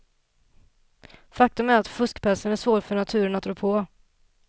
Faktum är att fuskpälsen är svår för naturen att rå på.